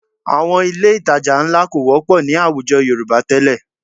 Àwọn ilé ìtajà ńlá kò wọ́pọ̀ ní àwùjọ Yorùbá tẹ́lẹ̀